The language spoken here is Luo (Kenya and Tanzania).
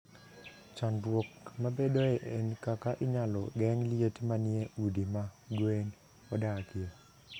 Chandruok mabedoe en kaka inyalo geng' liet manie udi ma gwe odakie.